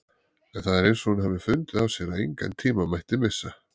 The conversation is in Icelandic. En það er eins og hún hafi fundið á sér að engan tíma mætti missa.